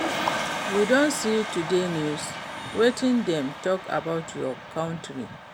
You don see today news? Wetin dem talk about our country?